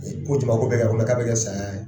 Ko jama ko bɛ kɛ. ko k' a bɛ kɛ saya ye?